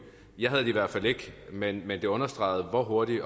jeg havde det i hvert fald ikke men men det understreger hvor hurtigt